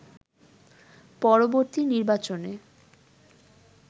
পরবর্তী নির্বাচনে